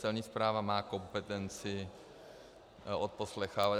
Celní správa má kompetenci odposlouchávat.